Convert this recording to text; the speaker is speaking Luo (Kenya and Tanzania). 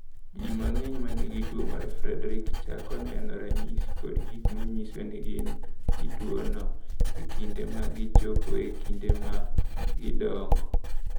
"Ji mang’eny ma nigi tuwo mar Friedreich chako neno ranyisi kod gik ma nyiso ni gin gi tuwono e kinde ma gichopo e kinde ma gidongo."